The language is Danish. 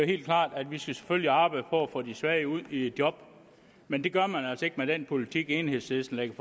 helt klart at vi selvfølgelig skal arbejde for at få de svage ud i job men det gør man altså ikke med den politik enhedslisten lægger